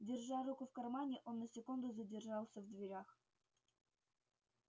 держа руку в кармане он на секунду задержался в дверях